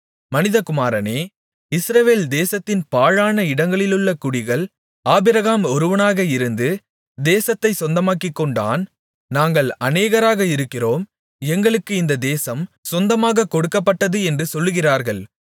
மனிதகுமாரனே இஸ்ரவேல் தேசத்தின் பாழான இடங்களிலுள்ள குடிகள் ஆபிரகாம் ஒருவனாக இருந்து தேசத்தைச் சொந்தமாக்கிக்கொண்டான் நாங்கள் அநேகராக இருக்கிறோம் எங்களுக்கு இந்த தேசம் சொந்தமாக கொடுக்கப்பட்டது என்று சொல்லுகிறார்கள்